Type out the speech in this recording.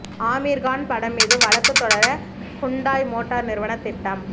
ஆமிர்கான் படம் மீது வழக்கு தொடர ஹூண்டாய் மோட்டார் நிறுவனம் திட்டம்